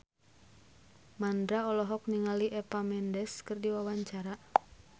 Mandra olohok ningali Eva Mendes keur diwawancara